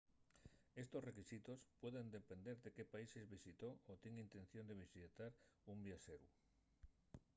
estos requisitos pueden depender de qué países visitó o tien intención de visitar un viaxeru